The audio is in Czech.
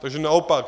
Takže naopak.